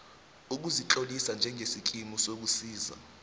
ukuzitlolisa njengesikimu sokusiza